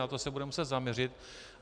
Na to se budeme muset zaměřit.